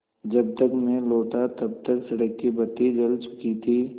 जब तक मैं लौटा तब तक सड़क की बत्ती जल चुकी थी